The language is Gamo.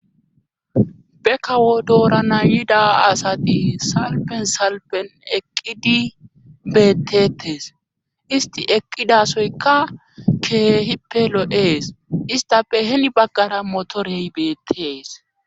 be kawo doorana yida asati salpen salpen eqqidi beettetes isti eqqidasoyka keehippe lo'ees istape heni baggara motorey beettees